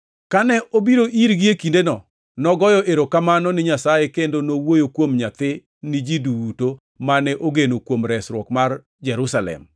Kane obiro irgi e kindeno, nogoyo erokamano ni Nyasaye kendo nowuoyo kuom nyathi ni ji duto mane ogeno kuom resruok mar Jerusalem.